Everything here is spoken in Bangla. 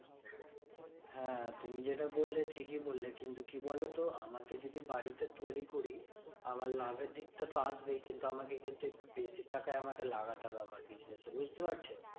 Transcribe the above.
হ্যাঁ তুমি যেটা বললে ঠিকই বললে। কিন্তু কি বলতো? আমাকে যদি বাড়িতে তৈরী করি, আমার লাভের দিকটা তো আসবেই, কিন্তু আমাকে কিন্তু একটু বেশি টাকা আমাকে লাগাতে হবে আমার business এ, বুঝতে পারছো?